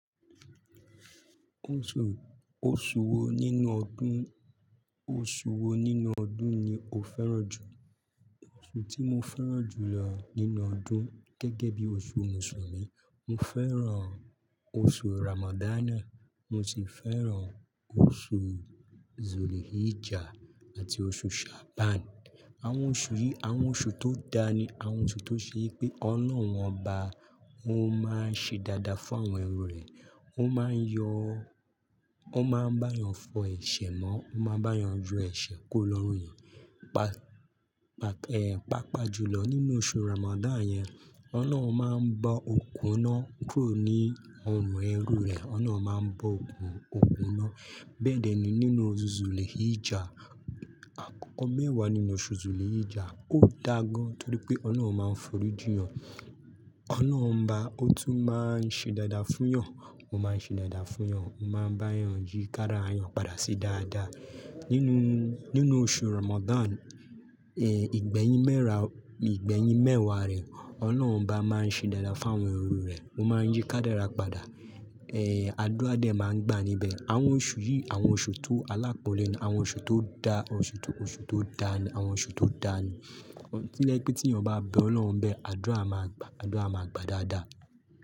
Oṣù, oṣù wo nínú ọdún, oṣù wo nínú ọdún ni o fẹ́ràn jù? Oṣù tí mo fẹ́ràn jù lọ nínú ọdún gẹ́gẹ́ bí oṣù Mùsùlùmí, mo fẹ́ràn oṣù Ramadan, mo sì fẹ́ràn oṣù Zulhijjah àti oṣù Sha'ban. Àwọn oṣù yìí, àwọn oṣù tó dáa ni àwọn oṣù tó ṣe wí pé Ọlọ́hun ọba, ó máa ń ṣe dáadáa fún àwọn ẹrú rẹ̀. Ó máa ń yọ, ó máa ń bá yàn fọ ẹ̀ṣẹ̀ mọ́, ó máa ń bá yàn yọ ẹ̀ṣẹ̀ kù ò lọ́rùn èèyàn. Pa-pa-pe-pàápàá jùlọ nínú oṣù Ramadan yẹn, Ọlọ́run máa ń bọ́ okùn iná, kúrò ní ọrùn ẹrú rẹ̀, Ọlọ́run máa ń bọ́ okùn, okùn iná. Bẹ́ẹ̀ dẹ́ ni nínú oṣù Zulhijjah, àkọ́kọ́ mẹ́wàá nínú oṣù Zulhijjah, ó dáa gan-an torí pé Ọlọ́run máa ń forí jìnyàn. Ọlọ́run ọba, ó tún máa ń ṣe dáadáa fún yàn, ó máa ń ṣe dáadáa fún yàn, ó máa ń bá'yàn yí kádàrá èèyàn padà sí dáadáa. Nínúu, nínú oṣù Ramadan, eh, ìgbẹ́yìn mẹ́ra, ìgbẹ́yìn mẹ́wàá rẹ̀, Ọlọ́hun ọba máa ń ṣe dáadáa fún àwọn ẹrú rẹ̀, ó máa ń yí kádàrá padà. Eh, àdúrá dẹ̀ máa ń gbà níbẹ̀. Àwọn oṣù yìí, àwọn oṣù tó alápọ́nlé ni, àwọn oṣù tó dáa, oṣù tó, oṣù tó dáa ni, àwọn oṣù tó dáa ni. Tó jẹ́ pé tí èèyàn bá bẹ Ọlọ́run ńbẹ̀, àdúrà máa gba, àdúrà máa gba dáadáa.